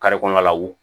kɔnɔ lawu